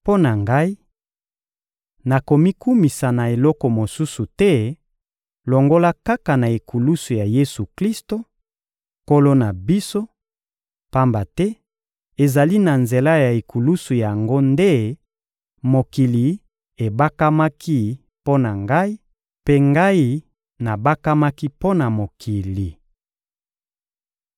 Mpo na ngai, nakomikumisa na eloko mosusu te, longola kaka na ekulusu ya Yesu-Klisto, Nkolo na biso, pamba te ezali na nzela ya ekulusu yango nde mokili ebakamaki mpo na ngai, mpe ngai nabakamaki mpo na mokili.